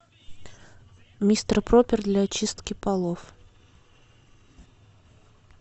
мистер пропер для очистки полов